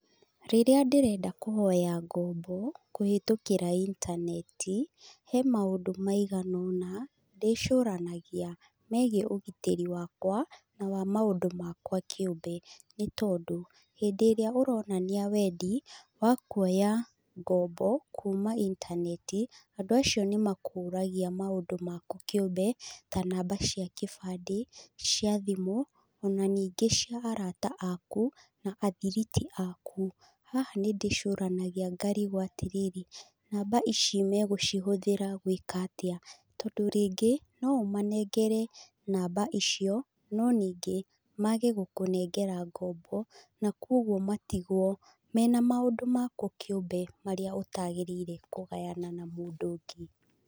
Rĩrĩa ndĩrenda kũhoya ngombo, kũhĩtũkĩra intaneti, he maũndũ maigana ũna ndĩcũranagia megiĩ ũgitĩri wakwa na wa maũndũ makwa kĩũmbe. Nĩ tondũ, hĩndĩ ĩrĩa ũronania wendi wa kuoya ngombo kuuma intaneti, andũ acio nĩ makũragia maũndũ maku kĩũmbe, ta namba cia kĩbandĩ, cia thimũ, ona ningĩ cia arata aaku na athiriti aaku. Haha nĩ ndĩcũranagia ngarigwo atĩrĩrĩ, namba ici megũcihũthĩra gwĩka atĩa? Tondũ rĩngĩ, no ũmanengere namba icio no ningĩ mage gũkũnengera ngombo na kũguo matigwo mena maũndũ maku kĩũmbe marĩa ũtagĩrĩire kũgayana na mũndũ ũngĩ.